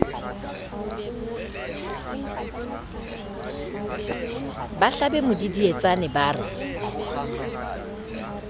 ba hlabe modidietsane ba re